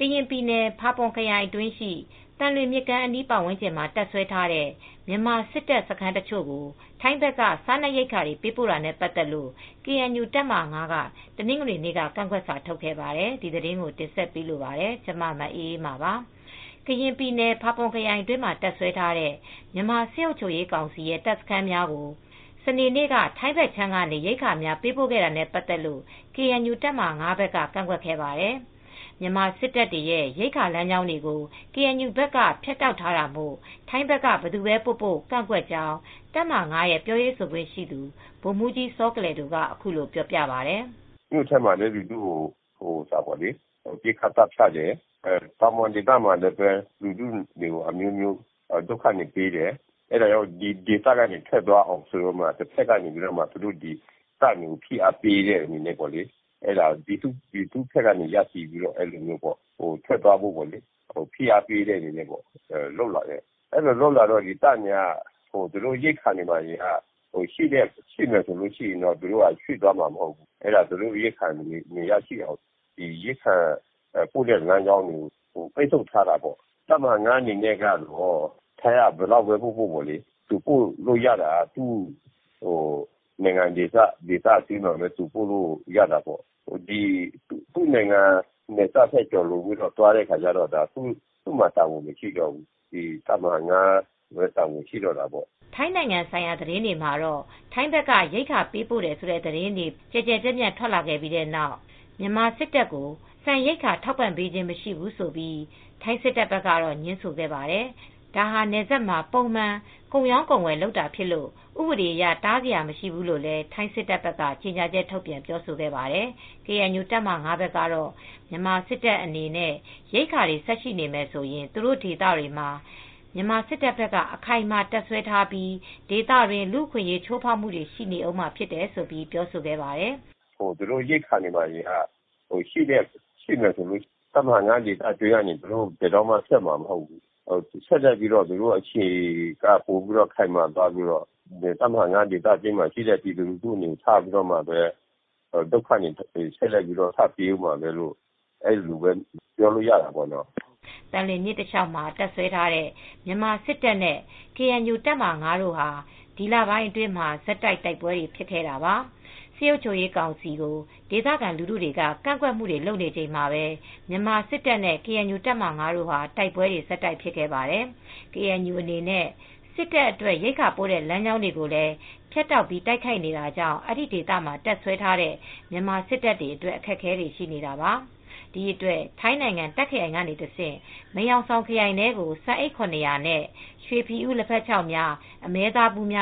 ကရင်ပြည်နယ် ဖာပွန်ခရိုင် သံလွင်မြစ်ကမ်း အနီးမှာ တပ်စွဲထားတဲ့ မြန်မာစစ်တပ် စခန်းအချို့ကို ထိုင်းဘက်က စားနပ်ရိက္ခာများ ပေးပို့တာနဲ့ ပတ်သက်လို့ ကေအန်ယူ တပ်မဟာ က တနင်္ဂနွေနေ့က ကန့်ကွက်စာထုတ်ခဲ့ပါတယ်။ ထိုင်း အခြေစိုက် ဗွီအိုအေ သတင်းထောက် မအေးအေးမာက တင်ပြထားပါတယ်။ ကရင်ပြည်နယ် ဖာပွန်ခရိုင်အတွင်းမှာ တပ်စွဲထားတဲ့ မြန်မာစစ်အုပ်ချုပ်ရေး ကောင်စီရဲ့ တပ်စခန်းတွေကို စနေနေ့က ထိုင်းဘက်ခြမ်းကနေ ရိက္ခာ ပေးပို့တာနဲ့ ပတ်သက်လို့ KNU တပ်မဟာ ဘက်က ကန့်ကွက်ခဲ့ပါတယ်။ မြန်မာ စစ်တပ်ရဲ့ ရိက္ခာ လမ်းကြောင်းတွေကို KNU က ဖြတ်တောက်ထားတာကြောင့် ဘယ်သူဘဲ ပို့ပို့ ကန့်ကွက်ကြောင်း တပ်မဟာ ရဲ့ ပြောခွင့်ရ ဗိုလ်မှူးကြီး စောကလယ်ဒို က ပြောပါတယ်။ “ မြို့ထဲမှာလည်း လူထုကို ပစ်ခတ် သတ်ဖြတ်တယ်။ တောင်ပေါ် ဒေသမှာလည်း လူထုကို ဒုက္ခ အမျိုးမျိုးပေးတယ်။ ဒီဒေသကနေ ထွက်သွားအောင် တပ်တွေကို ဖိအားပေးတဲ့ အနေနဲ့ လူထုဘက်က ရည်တည်ပြီး ဖိအားပေးခဲ့တာ။ ဖိအားပေးတဲ့ အခါမှာ တပ်တွေ ထွက်သွာအောင် လုပ်လာတာ။ အဲဒီလို လုပ်လာတော့ သူတို့က ရိက္ခာ ရှိနေရင် ထွက်သွားမှာ မဟုတ်ဘူး။ ” “ သူတို့ ရိက္ခာ မရအောင် ရိက္ခာ လမ်းကြောင်းတွေကို ပိတ်ဆို့ထားတာပါ။ တပ်မဟာ အနေနဲ့ကတော့ ထိုင်းဘက်ကနေ ဒီလို ရိက္ခာတွေ ဘယ်လောက် ပို့ပို့ သူ့နိုင်ငံ ဒေသတွင်းမှာဘဲ ပို့လို့ ရမယ်။ သူ့နိုင်ငံ နယ်စပ်ထိဘဲ ပို့လို့ရမယ်။ သူ့ နယ်စပ်ကို ကျော်လွန်သွားရင်တော့ သူတို့မှာ တာဝန်မရှိတော့ဘူး။ တပ်မဟာ မှာဘဲ တာဝန် ရှိတော့တာပေါ့။ ” ထိုင်းနိုင်ငံဆိုင်ရာ သတင်းတွေမှာ ထိုင်းဘက်က ရိက္ခာပို့ပေးတယ်ဆိုတဲ့ သတင်းတွေ ကျယ်ကျယ်ပြန့်ပြန့် ထွက်လာပြီးနောက် မြန်မာ စစ်တပ်ကို ဆန်ရိက္ခာ ထောက်ပံ့ခြင်း မရှိဘူးလို့ ထိုင်းစစ်တပ်ဘက်က ငြင်းဆိုခဲ့ပါတယ်။ ဒါဟာ နယ်စပ်မှာ ပုံမှန် ကုန်ရောင်း ကုန်ဝယ် လုပ်တာ ဖြစ်လို့ ဥပဒေ အရ တားစရာ မရှိဘူးလို့လည်း ထိုင်း စစ်တပ်က ကြေညာချက် ထုတ်ပြန် ပြောဆိုခဲ့ပါတယ်။ KNU တပ်မဟာ ကတော့ မြန်မာ စစ်တပ် အနေနဲ့ ရိက္ခာတွေ ဆက်ရှိနေမယ်ဆိုရင် သူတို့ ဒေသမှာ မြန်မာ စစ်တပ်ဘက်က အခိုင်အမာ တပ်စွဲထားပြီး ဒေသတွင်း လူ့အခွင့်အရေး ချိုးဖောက်မှုတွေ ရှိနေဦးမှာ ဖြစ်တယ်လို့ ဆိုပါတယ်။ “ သူတို့ ရိက္ခာတွေ ရှိနေမယ်ဆိုရင် တပ်မဟာ ဒေသတွင်းက သူတို့က ဘယ်တော့မှ ထွက်မှာ မဟုတ်ဘူး။ အခြေပိုပြီး ခိုင်ပြီးတော့ တပ်မဟာ ဒေသတွင်းက လူထုကို ဒုက္ခတွေ ထပ်ပေးဦးမှာဘဲလို့ ပြောလို့ ရတာပေါ့။ ” သံလွင်မြစ် တလျှောက်မှာ တပ်စွဲထားတဲ့ မြန်မာ စစ်တပ်နဲ့ KNU တပ်မဟာ တို့ဟာ ဒီလပိုင်းတွေ အတွင်း ဆက်တိုက် တိုက်ပွဲတွေ ဖြစ်နေတာပါ။ စစ်အုပ်ချုပ်ရေး ကောင်စီကို ဒေသခံ လူထုက ကန့်ကွက်နေချိန်မှာဘဲ မြန်မာ စစ်တပ်နဲ့ KNU တပ်မဟာ တို့ကြား တိုက်ပွဲတွေ ဆက်တိုက် ဖြစ်ခဲ့ပါတယ်။ KNU အနေနဲ့ စစ်တပ် အတွက် ရိက္ခာပို့တဲ့ လမ်းကြောင်းတွေကိုလည်း ဖြတ်တောက်ပြီး တိုက်ခိုက်နေတာကြောင့် အဲဒီ ဒေသမှာ တပ်စွဲထားတဲ့ မြန်မာ စစ်တပ်က အခက်အခဲတွေ ရှိနေတာပါ။ ဒီအတွက် ထိုင်းနိုင်ငံ တာ့ခ်ခရိုင်အတွင်းက တဆင့် မယ်ဟောင်ဆောင် ခရိုင်ထဲကို ဆန်အိတ် နဲ့ ရွှေဖီဦး လက်ဖက်ခြောက်၊ အမဲသားဘူး၊